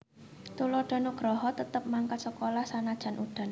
Tuladha Nugraha tetep mangkat sekolah sanajan udan